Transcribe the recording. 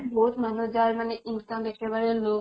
বহুত মানুহ যাৰ মানে income একেবাৰে low